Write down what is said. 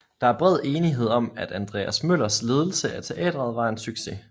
Der er bred enighed om at Andreas Møllers ledelse af teatret var en succes